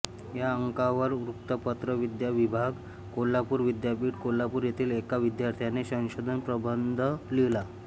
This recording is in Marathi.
या अंकावर वृत्तपत्र विद्या विभाग कोल्हापूर विद्यापीठ कोल्हापूर येथील एका विद्यार्थ्याने संशोधन प्रबंध लिहिला